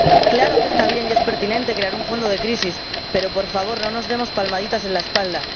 Claro que está bien y es pertinente crear un fondo de crisis, pero, por favor, no nos demos palmaditas en la espalda.